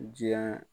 Diɲɛ